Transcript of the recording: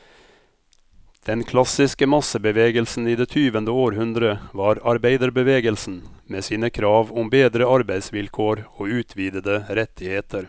Den klassiske massebevegelsen i det tyvende århundre var arbeiderbevegelsen, med sine krav om bedre arbeidsvilkår og utvidede rettigheter.